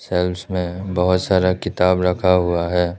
Shelves में बहुत सारा किताब रखा हुआ है।